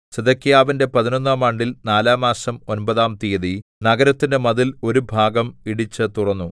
സിദെക്കീയാവിന്റെ പതിനൊന്നാം ആണ്ടിൽ നാലാംമാസം ഒമ്പതാം തീയതി നഗരത്തിന്റെ മതിൽ ഒരു ഭാഗം ഇടിച്ചു തുറന്നു